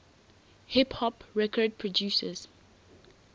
hip hop record producers